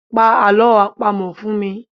Pa alọ́ àpamọ fun mi